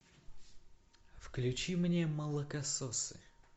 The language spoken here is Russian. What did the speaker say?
включи мне молокососы